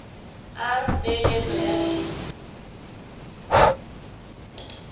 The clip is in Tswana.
r peeletso ya leina